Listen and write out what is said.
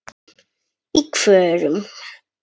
Í hvorum?